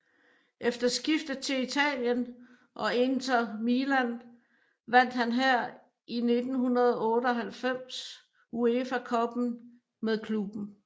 Efter skiftet til Italien og Inter Milan vandt han her i 1998 UEFA Cuppen med klubben